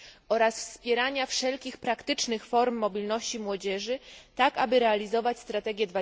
oraz wspierania wszelkich praktycznych form mobilności młodzieży tak, aby realizować strategię